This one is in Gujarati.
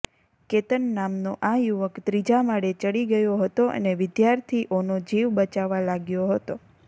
કેતન નામનો આ યુવક ત્રીજા માળે ચડી ગયો હતો અને વિદ્યાર્થીઓનો જીવ બચાવવા લાગ્યો હતો